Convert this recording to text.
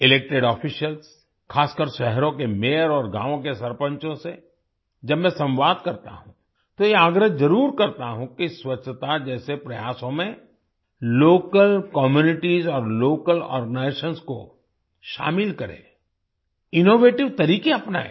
elected officials खासकर शहरों के मेयर और गाँवों के सरपंचों से जब मैं संवाद करता हूँ तो ये आग्रह जरुर करता हूँ कि स्वच्छता जैसे प्रयासों में लोकल कम्यूनिटीज और लोकल आर्गेनाइजेशंस को शामिल करें इनोवेटिव तरीके अपनाएं